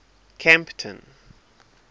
kempton